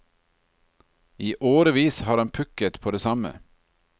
I årevis har han pukket på det samme.